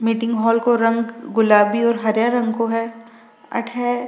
meeting hall को रंग गुलाबी और हरे रंग को है अठे --